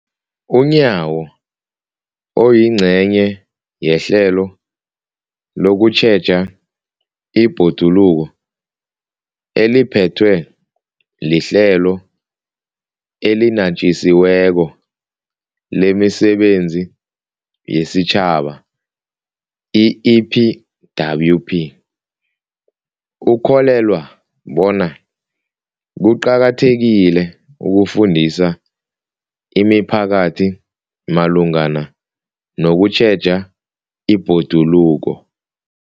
UNyawo, oyingcenye yehlelo lokutjheja ibhoduluko eliphethwe liHlelo eliNatjisi weko lemiSebenzi yesiTjhaba, i-EPWP, ukholelwa bona kuqakathekile ukufundisa imiphakathi malungana nokutjheja ibhoduluko.